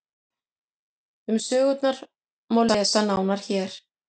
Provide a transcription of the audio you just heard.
um sögurnar má lesa nánar hér